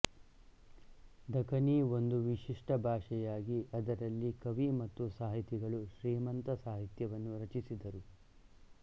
ದಖನಿ ಒಂದು ವಿಶಿಷ್ಟ ಭಾಷೆಯಾಗಿ ಅದರಲ್ಲಿ ಕವಿ ಮತ್ತು ಸಾಹಿತಿಗಳು ಶ್ರೀಮಂತ ಸಾಹಿತ್ಯವನ್ನು ರಚಿಸಿದರು